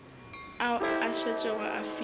ao a šetšego a filwe